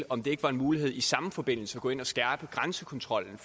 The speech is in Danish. om det ikke var en mulighed i samme forbindelse at gå ind og skærpe grænsekontrollen